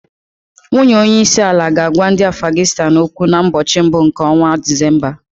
Nwunye onye isi àlà ga-agwa ndị Afganịstan okwu na mbochi mbụ nke ọnwa Disemba.